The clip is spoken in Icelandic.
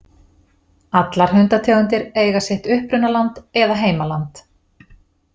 Allar hundategundir eiga sitt upprunaland eða heimaland.